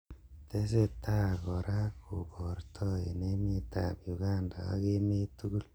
Tesetai kora koborto eng emet ab Uganda ak emet tugul.